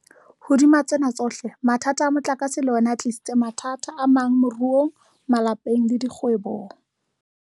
Hodima tsena tsohle, mathata a motlakase le ona a tlisitse mathata amang moruong, malapeng le dikgwebong.